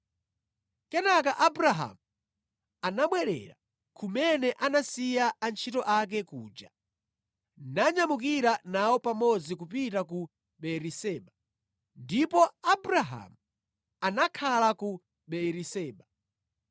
Kenaka Abrahamu anabwerera kumene anasiya antchito ake kuja nanyamukira nawo pamodzi kupita ku Beeriseba. Ndipo Abrahamu anakhala ku Beeriseba.